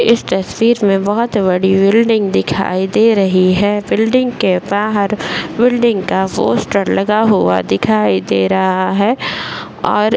इस तस्वीर में बहुत बड़ी बिल्डिंग दिखाई दे रही है बिल्डिंग के बाहर बिल्डिंग का पोस्टर लगा हुआ दिखाई दे रहा है और --